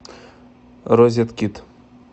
розеткед